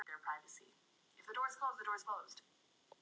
Þá er ég glaður.